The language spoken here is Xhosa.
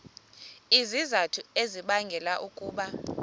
izizathu ezibangela ukuba